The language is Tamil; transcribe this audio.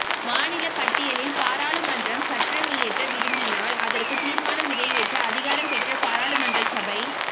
மாநிலப் பட்டியலில் பாராளுமன்றம் சட்டமியற்ற விரும்பினால் அதற்கு தீர்மானம் நிறைவேற்ற அதிகாரம் பெற்ற பாராளுமன்ற சபை